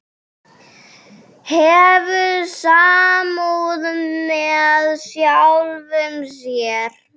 Hefur samúð með sjálfum sér.